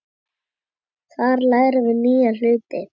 Þar lærum við nýja hluti.